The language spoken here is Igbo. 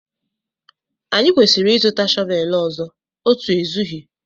Anyị kwesịrị ịzụta shọvel ọzọ, otu ezughị